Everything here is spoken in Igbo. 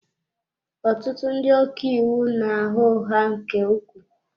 Ọtụtụ ndị ọka iwu na-agha ụgha nke ukwuu.